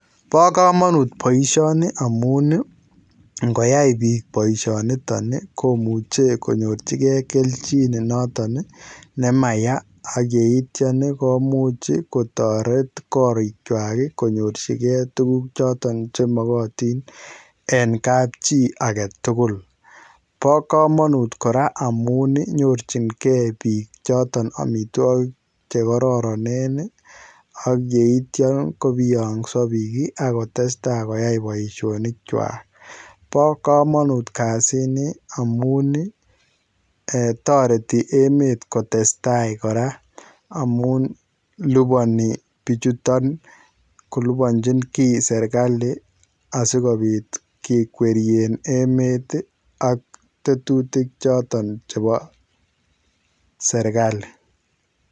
Bo kamanut boisioni amun ii, ngoyai piik boisioniton ii, komuche konyorchikei kelchin noton ii ne maya ak yeityon komuch kotoret korichwak konyorchikei tukuk choton che makatin en kapchi ake tugul. Bo kamanut kora amun ii nyorchinkei piik choton amitwogik che kororonen ii, ak yeityon kobiongso piik ii ak kotestai koyai boisionichwak, bo kamanut kasini amun ii[um] toreti emet kotestai kora amun liponi pichuton koliponchi kiy Serikal, asi kobit kekwerien emet ii ak tetutik choton chebo Serikali.